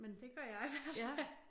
Det gør jeg i hvert fald